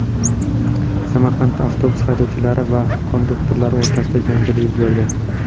Samarqandda avtobus haydovchilari va konduktorlari o‘rtasida janjal yuz berdi.